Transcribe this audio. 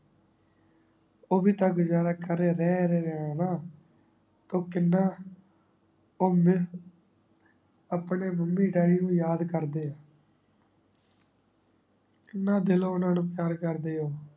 ਓਵੀ ਤਾਂ ਗੁਜ਼ਾਰਾ ਕਰ ਰੇ ਰੇ ਹਾਨਾ ਟੋਹ ਕੀਨਾ ਊ ਮੀਰ ਅਪਨੇ mummy daddy ਨੂ ਯਾਦ ਕਰ ਦੇ ਆ ਕੀਨਾ ਦਿਲੋ ਓਨਾ ਨੂ ਪਯਾਰ ਕਰ ਦੇ ਊ